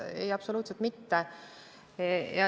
Ei, absoluutselt mitte.